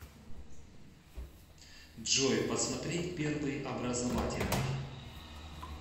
джой посмотреть первый образовательный